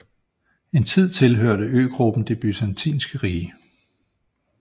En tid tilhørte øgruppen det Byzantinske rige